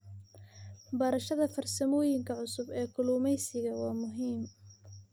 Barashada farsamooyinka cusub ee kalluumeysiga waa muhiim.